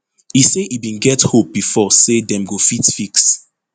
e say e bin get hope bifor say dem go fit fix